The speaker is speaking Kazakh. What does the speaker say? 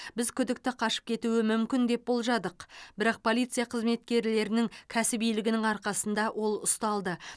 біз күдікті қашып кетуі мүмкін деп болжадық бірақ полиция қызметкерлерінің кәсібилігінің арқасында ол ұсталды